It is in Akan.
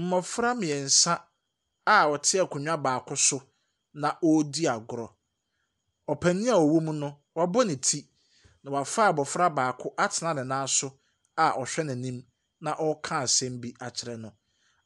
Mmɔfra mmeɛnsa a wɔte akonnwa baako so, na wɔredi agorɔ. Ɔpanin a ɔwɔ mu no, wabɔ ne ti, na wafa abɔfra baako atena ne nan so a ɔhwɛ n'anim na ɔreka asɛm bi akyerɛ no.